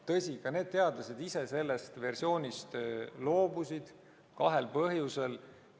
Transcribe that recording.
Tõsi, ka need teadlased ise loobusid sellest versioonist kahel põhjusel.